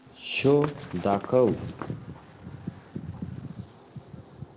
show दाखव